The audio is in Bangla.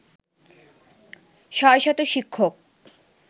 ৬শত শিক্ষক